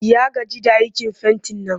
Ya gaji da aikin fentin nan